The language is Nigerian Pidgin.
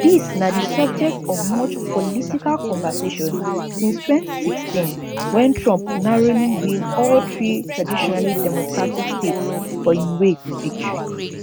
dis na di subject of much political conversation since 2016 wen trump narrowly win all three traditionally democratic states for im way to victory